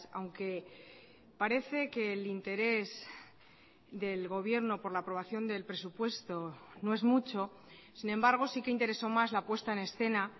aunque parece que el interés del gobierno por la aprobación del presupuesto no es mucho sin embargo sí que interesó más la puesta en escena